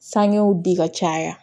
Sangew di ka caya